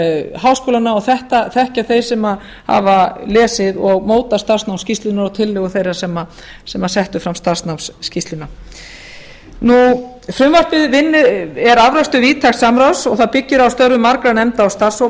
háskólanna og þetta þekkja þeir sem hafa lesið og mótað starfsmannaskýrsluna og tillögu þeirra sem settu fram starfsnámsskýrsluna frumvarpið er afrakstur víðtæks samráðs og það byggir á störfum margra nefnda og starfshópa og mér